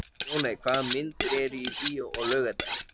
Ljóney, hvaða myndir eru í bíó á laugardaginn?